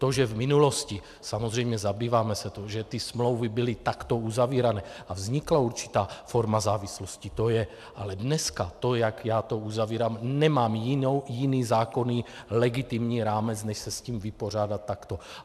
To, že v minulosti, samozřejmě zabýváme se tím, že ty smlouvy byly takto uzavírané a vznikla určitá forma závislosti, to je, ale dneska to, jak já to uzavírám, nemám jiný zákonný legitimní rámec, než se s tím vypořádat takto.